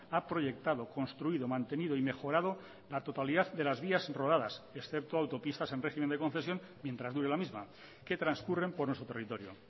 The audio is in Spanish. ha proyectado construido mantenido y mejorado la totalidad de las vías rodadas excepto autopistas en régimen de concesión mientras dure la misma que transcurren por nuestro territorio